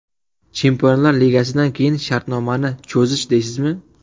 Chempionlar ligasidan keyin shartnomani cho‘zish deysizmi?